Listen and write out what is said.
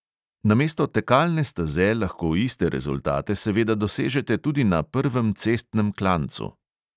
Namesto tekalne steze lahko iste rezultate seveda dosežete tudi na prvem cestnem klancu.